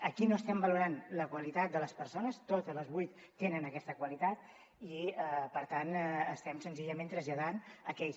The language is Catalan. aquí no estem valorant la qualitat de les persones totes les vuit tenen aquesta qualitat i per tant estem senzillament traslladant aquells